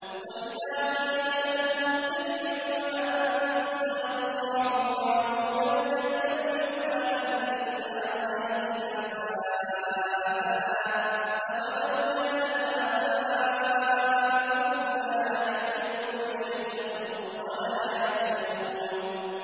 وَإِذَا قِيلَ لَهُمُ اتَّبِعُوا مَا أَنزَلَ اللَّهُ قَالُوا بَلْ نَتَّبِعُ مَا أَلْفَيْنَا عَلَيْهِ آبَاءَنَا ۗ أَوَلَوْ كَانَ آبَاؤُهُمْ لَا يَعْقِلُونَ شَيْئًا وَلَا يَهْتَدُونَ